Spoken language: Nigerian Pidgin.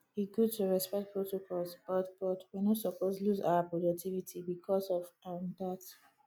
e good to respect protocols but but we no suppose lose our productivity bicos of um dat